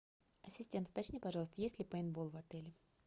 ассистент уточни пожалуйста есть ли пейнтбол в отеле